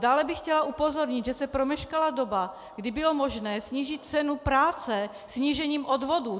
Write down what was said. Dále bych chtěla upozornit, že se promeškala doba, kdy bylo možné snížit cenu práce snížením odvodů.